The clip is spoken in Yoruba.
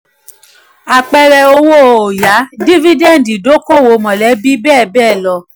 apẹẹrẹ owó oya: dividend idoko-owo mọlẹbi bẹ́ẹ̀ bẹ́ẹ̀ lọ.